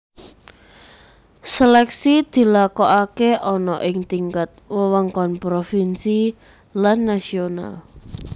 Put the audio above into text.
Seleksi dilakokake ana ing tingkat wewengkon provinsi lan nasional